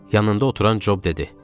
Yanında oturan Job dedi.